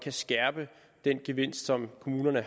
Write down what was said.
at skærpe gevinsten som kommunerne